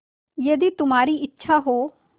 यदि तुम्हारी इच्छा हो